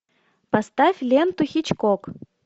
поставь ленту хичкок